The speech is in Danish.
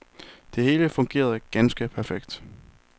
Det hele fungerede ganske perfekt.